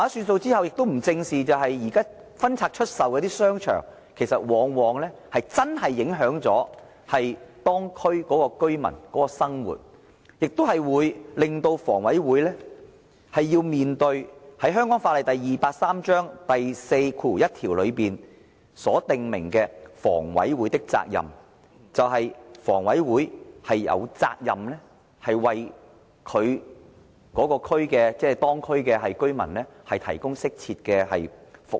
出售後，沒有正視現在分拆出售的商場往往影響當區居民的生活，亦令房委會須面對香港法例第283章第41條所訂明的房委會的責任，就是房委會有責任為當區居民提供適切的服務。